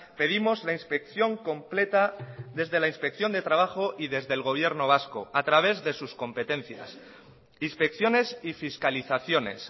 pedimos la inspección completa desde la inspección de trabajo y desde el gobierno vasco a través de sus competencias inspecciones y fiscalizaciones